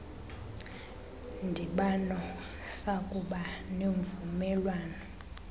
ndibano sakuba nemvumelwano